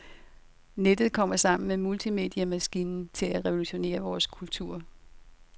Nettet kommer sammen med multimediemaskinen til at revolutionere vores kultur.